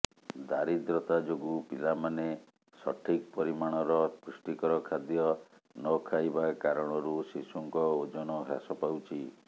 ଦାରିଦ୍ର୍ୟତା ଯୋଗୁଁ ପିଲାମାନେ ସଠିକ୍ ପରିମାଣର ପୃଷ୍ଟିକର ଖାଦ୍ୟ ନଖାଇବା କାରଣରୁ ଶିଶୁଙ୍କ ଓଜନ ହ୍ରାସ ପାଉଛି